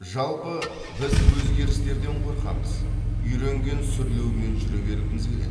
жалпы біз өзгерістерден қорқамыз үйренген сүрлеумен жүре бергіміз келеді